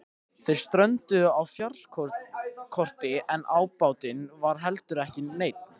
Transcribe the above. Þeir strönduðu á fjárskorti en ábatinn var heldur ekki neinn.